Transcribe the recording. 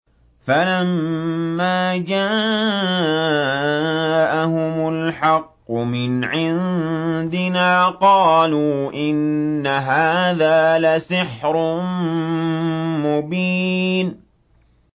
فَلَمَّا جَاءَهُمُ الْحَقُّ مِنْ عِندِنَا قَالُوا إِنَّ هَٰذَا لَسِحْرٌ مُّبِينٌ